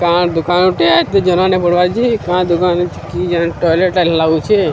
ଗାଁ ଦୋକାନ ଟିଏ କି ଜାନେ ଟୋଏଲେଟ ଲାଗେ ଲାଗୁଚି।